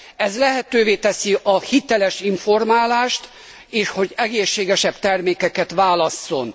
Ez lehetővé teszi a hiteles informálást, és hogy egészségesebb termékeket válasszon.